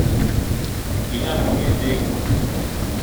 Ichome ngedek'i?